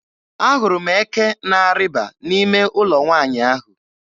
Ahụrụ m eke na-arịba n'ime ụlọ nwaanyị ahụ.